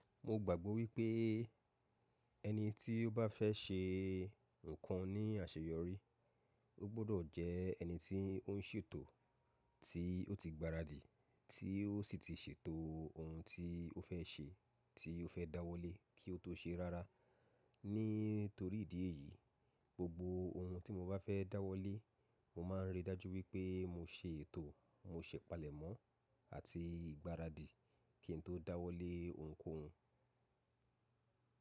Mo gbàgbọ́ wípé ẹni tí ó bá fẹ́ ṣe ǹkan ní àṣeyọrí, ó gbọ́dọ̀ jẹ́ ẹni tí ó ń ṣètò, tí ó ti gbaradì, tí ó sì ti ṣètò ohun tí ó fẹ́ ṣe, tí ó fẹ́ dáwọ́lé kí ó tó ṣe rárá. Nítorí ìdí èyí, gbogbo ohun tí mo bá fẹ́ dáwọ́lé, mo máa ń rí i dájú wípé mo ṣe ètò, mo ṣẹ̀ palẹ̀mọ́ àti ìgbáradì kí n tó dáwọ́lé ohunkóhun.